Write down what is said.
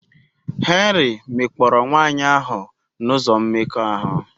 Henry mekpọrọ nwanyị ahụ n'ụzọ mmekọahụ.